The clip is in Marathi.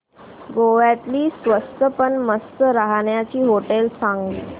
गोव्यातली स्वस्त पण मस्त राहण्याची होटेलं सांग